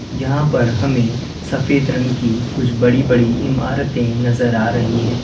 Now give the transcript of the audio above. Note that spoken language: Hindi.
यहां पर हमें सफेद रंग की कुछ बड़ी बड़ी इमारतें नजर आ रही है।